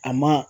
A ma